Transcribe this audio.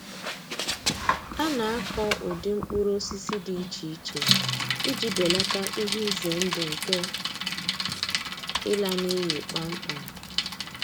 A na-akọ ụdị mkpụrụ osisi dị iche iche iji belata ihe ize ndụ nke ịla n’iyi kpamkpam.